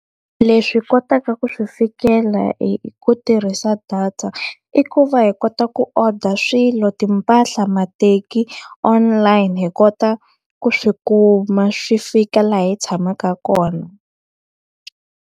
Leswi hi kotaka ku swi fikela hi ku tirhisa data, i ku va hi kota ku odara swilo, timpahla, mateki online. Hi kota ku swi kuma swi fika laha hi tshamaka kona.